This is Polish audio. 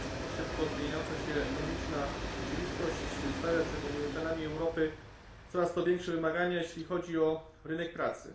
Szybko zmieniająca się ekonomiczna rzeczywistość stawia przed obywatelami Europy coraz to większe wymagania jeśli chodzi o rynek pracy.